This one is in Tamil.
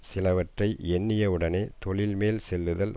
சிலவற்றை எண்ணியவுடனே தொழில் மேல் செல்லுதல்